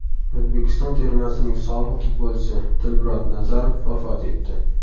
O‘zbekiston termasining sobiq futbolchisi Dilmurod Nazarov vafot etdi.